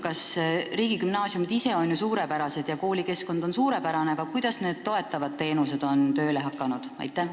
Riigigümnaasiumid ise on ju suurepärased ja koolikeskkond on suurepärane, aga kuidas need toetavad teenused on tööle hakanud?